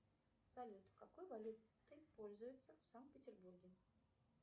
салют какой валютой пользуются в санкт петербурге